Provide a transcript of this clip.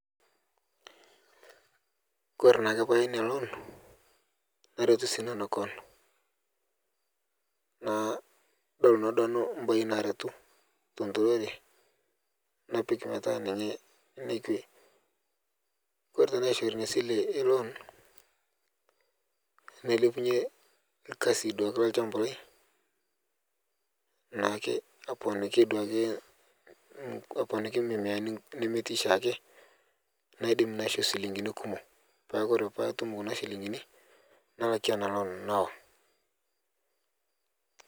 Kore naake paya nia loon naretu sii nanu koon nadol naa nanu mbae naretu tonturore napik petaa ninye nekwe kore tanaishore nia sile eloon nailepunye duake lkasi lelshamba lai naake aponiki naake nenia nemeti shake naidim naisho silingini kumo peaku kore patum kuna silingini nalakie ana loon nawa.